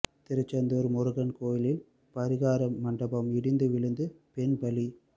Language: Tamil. திருச்செந்தூர் முருகன் கோவிலில் பரிகாரம் மண்டபம் இடிந்து விழுந்து பெண் பலி